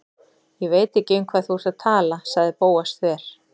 Ég veit ekki um hvað þú ert að tala- sagði Bóas þver